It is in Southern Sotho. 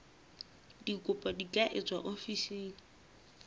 dikopo di ka etswa ofising